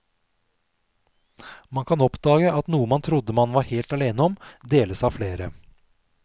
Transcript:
Man kan oppdage at noe man trodde man var helt alene om, deles av flere.